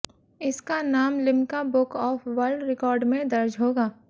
इसका नाम Limca book of world record में दर्ज होगा